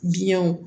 Biɲɛw